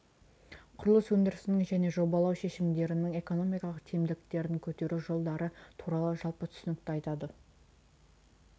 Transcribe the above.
құрылыс өндірісінің және жобалау шешімдерінің экономикалық тиімділіктерін көтеру жолдары туралы жалпы түсінікті айтады